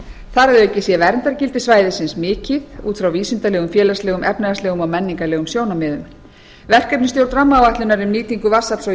þar að auki sé verndargildi svæðisins mikið út frá vísindalegum félagslegum efnahagslegum og menningarlegum sjónarmiðum verkefnisstjórn rammaáætlunar um nýtingu vatnsafls og